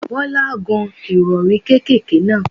Bọ́lá gán Ìrọ̀rí kékèké náà.